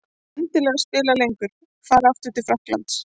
En ég vil endilega spila lengur. Fara aftur til Frakklands?